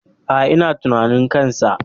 Aa, ina tunanin kansa